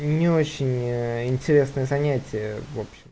не очень ээ интересное занятие в общем